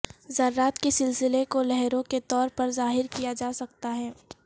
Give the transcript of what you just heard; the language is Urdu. ذرات کے سلسلے کو لہروں کے طور پر ظاہر کیا جا سکتا ہے